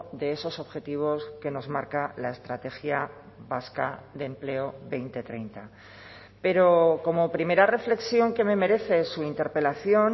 de esos objetivos que nos marca la estrategia vasca de empleo dos mil treinta pero como primera reflexión que me merece su interpelación